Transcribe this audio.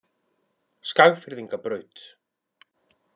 Skagfirðingabraut